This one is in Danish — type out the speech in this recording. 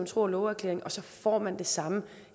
tro og love erklæring og så får man det samme